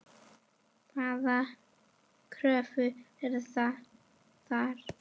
Hvaða kröfur verða þar?